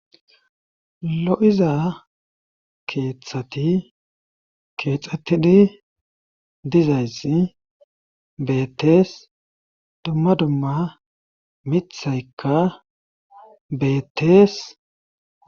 lo7iza keeththati keexxattidi dizayssi beettes dumma dumma mithaykka beettes